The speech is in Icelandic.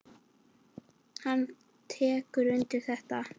Hann tekur undir þetta.